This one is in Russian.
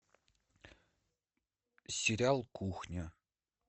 сериал кухня